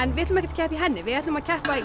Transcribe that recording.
við ætlum ekki að keppa í henni við ætlum að keppa í